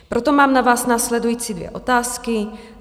Proto mám na vás následující dvě otázky.